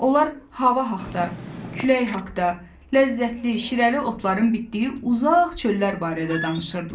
Onlar hava haqda, külək haqda, ləzzətli, şirəli otların bitdiyi uzaq çöllər barədə danışırdılar.